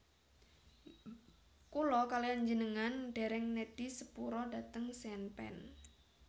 Kula kaliyan njenengan dereng nedhi sepura dhateng Sean Penn